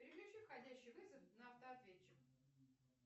переключи входящий вызов на автоответчик